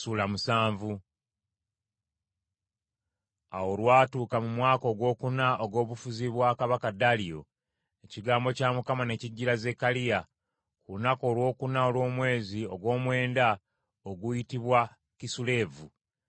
Awo olwatuuka mu mwaka ogwokuna ogw’obufuzi bwa kabaka Daliyo, ekigambo kya Mukama ne kijjira Zekkaliya, ku lunaku olwokuna olw’omwezi ogw’omwenda oguyitibwa Kisuleevu.